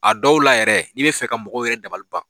A dɔw la yɛrɛ i bɛ fɛ ka mɔgɔw yɛrɛ dabaliban.